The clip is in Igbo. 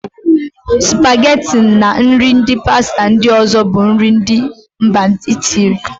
Spageti na nri pasta ndị ọ̀zọ́ bụ nri ndị mba Itiili.